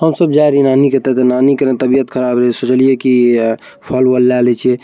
हम सब जा रहे हइ नानी के तहाँ नानी के न तबियत ख़राब है सोच लिये की फल-वल ले ली छे।